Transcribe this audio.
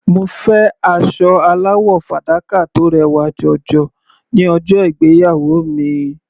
Mo fẹ́ aṣọ aláwọ̀ fàdákà tó rẹwà jọjọ ní ọjọ́ ìgbéyàwó mi.